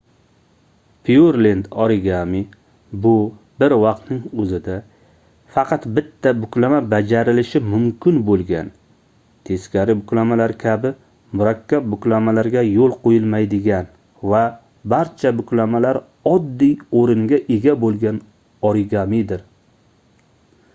pyurlend origami bu bir vaqtning oʻzida faqat bitta buklama bajarilishi mumkin boʻlgan teskari buklamalar kabi murakkab buklamalarga yoʻl qoʻyilmaydigan va barcha buklamalar oddiy oʻringa ega boʻlgan origamidir